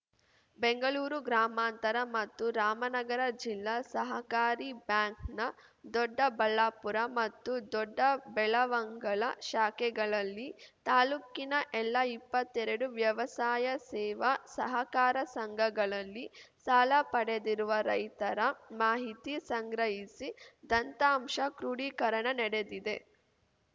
ಬೆಂಗಳೂರು ಗ್ರಾಮಾಂತರ ಮತ್ತು ರಾಮನಗರ ಜಿಲ್ಲಾ ಸಹಕಾರಿ ಬ್ಯಾಂಕ್‌ನ ದೊಡ್ಡಬಳ್ಳಾಪುರ ಮತ್ತು ದೊಡ್ಡಬೆಳವಂಗಲ ಶಾಖೆಗಳಲ್ಲಿ ತಾಲೂಕಿನ ಎಲ್ಲ ಇಪ್ಪತ್ತೆರಡು ವ್ಯವಸಾಯ ಸೇವಾ ಸಹಕಾರ ಸಂಘಗಳಲ್ಲಿ ಸಾಲ ಪಡೆದಿರುವ ರೈತರ ಮಾಹಿತಿ ಸಂಗ್ರಹಿಸಿ ದಂತ್ತಾಂಶ ಕ್ರೋಡೀಕರಣ ನಡೆದಿದೆ